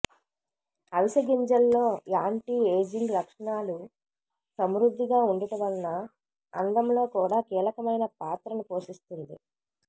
అవిసె గింజల్లో anti ageing లక్షణాలు సమృద్ధిగా ఉండుట వలన అందంలో కూడా కీలకమైన పాత్రను పోషిస్తుంది